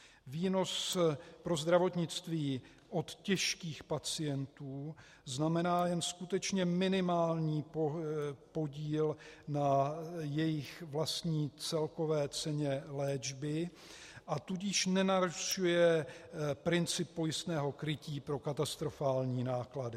Výnos pro zdravotnictví od těžkých pacientů znamená jen skutečně minimální podíl na jejich vlastní celkové ceně léčby, a tudíž nenarušuje princip pojistného krytí pro katastrofální náklady.